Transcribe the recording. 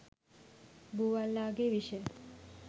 බූවල්ලාගේ විෂ